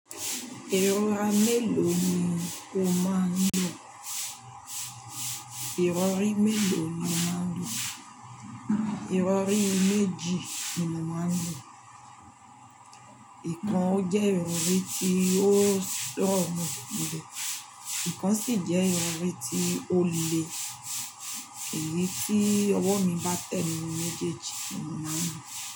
Ìrora mélòó ni o máa ń lo? Ìrọrí mélòó ni ó máa ń lo? Ìrọrí méjì ni mo máa ń lo. Ìkan jẹ́ ìrọrí tí ó sọ̀rọ̀ mó ibẹ̀. Ìkan sì jẹ́ ìrọrí tí ó le. Èyí tí ọwọ́ mi bá tẹ̀ ninu méjèèjì ni mo máa ń lò.